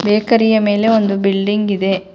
Bakery ಯ ಮೇಲೆ ಒಂದು ಬಿಲ್ಡಿಂಗ್ ಇದೆ.